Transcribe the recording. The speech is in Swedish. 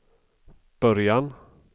början